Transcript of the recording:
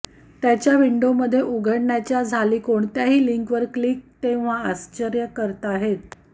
त्याच विंडोमध्ये उघडण्याच्या झाली कोणत्याही लिंक वर क्लिक तेव्हा आश्चर्य करताहेत